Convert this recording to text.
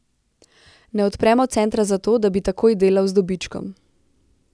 Ne odpremo centra zato, da bi takoj delal z dobičkom.